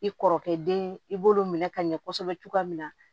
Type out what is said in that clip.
I kɔrɔkɛ den i b'olu minɛ ka ɲɛ kosɛbɛ cogoya min na